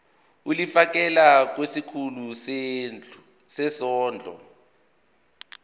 ulifiakela kwisikulu sezondlo